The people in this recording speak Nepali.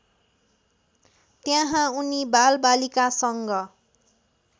त्यहाँ उनी बालबालिकासँग